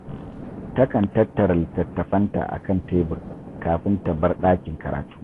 Ta kan tattara littattafanta a kan tebur kafin ta bar ɗakin karatu.